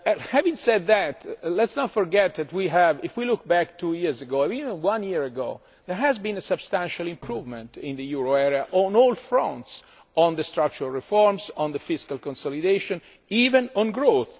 Having said that let us not forget that if we look back two years ago or even one year ago, there has been a substantial improvement in the euro area on all fronts on the structural reforms, on the fiscal consolidation, even on growth.